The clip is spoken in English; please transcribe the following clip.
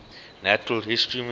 natural history museum